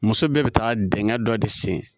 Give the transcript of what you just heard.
Muso bɛɛ bɛ taa dingɛ dɔ de sen